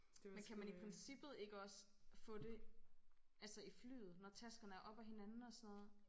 Men kan man i princippet ikke også få det altså i flyet når taskerne er oppe af hinanden og sådan noget?